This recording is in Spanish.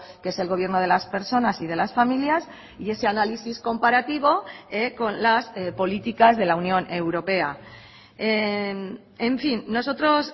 que es el gobierno de las personas y de las familias y ese análisis comparativo con las políticas de la unión europea en fin nosotros